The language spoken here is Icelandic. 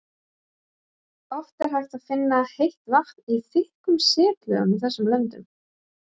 oft er hægt að finna heitt vatn í þykkum setlögum í þessum löndum